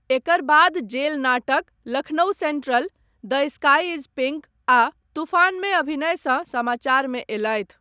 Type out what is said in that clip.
एकर बाद जेल नाटक 'Lucknow Central', 'the sky is pink' आ 'तूफान' मे अभिनयसँ समाचारमे अयलथि।